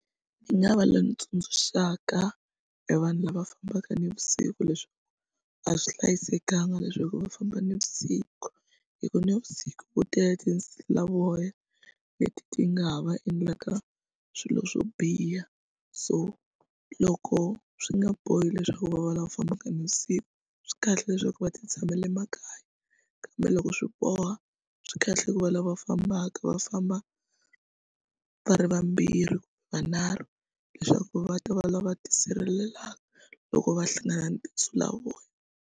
Ni nga va loyi ni tsundzuxaka e vanhu lava fambaka navusiku leswi a swi hlayisekanga leswaku va famba navusiku hi ku navusiku ku tele tinsulavoya leti ti nga ha va endlaka swilo swo biha so loko swi nga bohi leswaku va va lava fambaka navusiku swi kahle leswaku va ti tshamele makaya kambe loko swi boha swi kahle ku va lava fambaka va famba va ri vambirhivanharhu leswaku va ta va lava tisirhelela loko va hlangana na tinsulavoya.